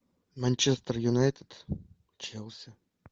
манчестер юнайтед челси